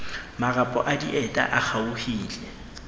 marapo a dieta a kgaohile